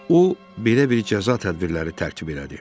O belə bir cəza tədbirləri tərkib elədi.